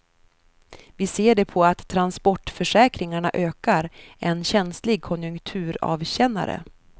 Vi ser det på att transportförsäkringarna ökar, en känslig konjunkturavkännare.